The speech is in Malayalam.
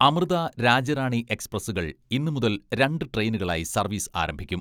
അമൃത രാജ്യറാണി എക്സ്പ്രസുകൾ ഇന്നുമുതൽ രണ്ട് ട്രെയിനുകളായി സർവീസ് ആരംഭിക്കും.